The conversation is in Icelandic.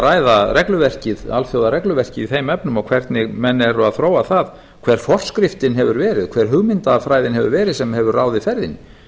ræða alþjóðaregluverkið í þeim efnum og hvernig menn eru að þróa þar hver forskriftin hefur verið hver hugmyndafræðin hefur verið sem hefur ráðið ferðinni